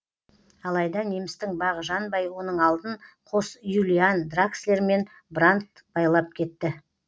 алайда немістің бағы жанбай оның алдын қос юлиан дракслер мен брандт байлап кетті